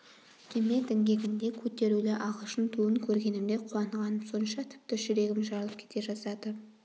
кеме діңгегінде көтерулі ағылшын туын көргенімде қуанғаным сонша тіпті жүрегім жарылып кете жаздады